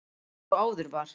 Eins og áður var